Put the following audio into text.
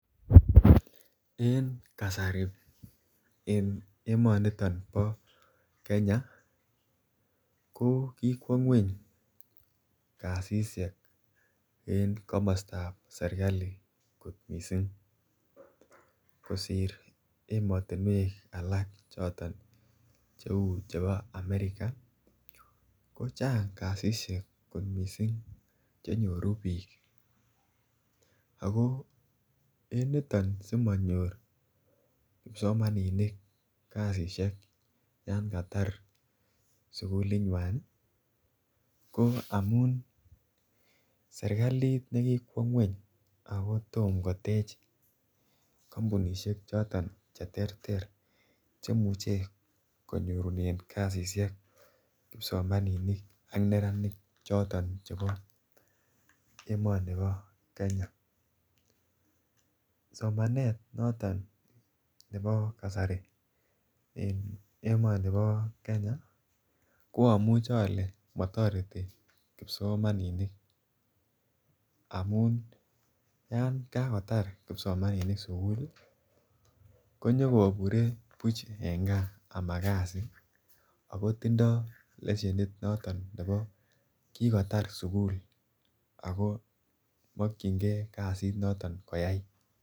En kasari en emoniton bo Kenya ko kikwo ngweny kasisiek en serkalit kosir emet ab America ole chang kasisiek chenyoru biik ko asimonyor kipsomaninik chekitar sukul kotom kotech serkali kampunisiek cheterter chemuche konyorunen kasisiek neranik .Somanet nebo kasari en Kenya komotoreti kipsomaninik amun yon katar kipsomaninik konyo kobure en kaa buch akotinye lesenit nekitar sugul akomokyingei kasit koyai.